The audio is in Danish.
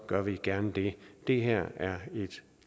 gør vi gerne det det her er et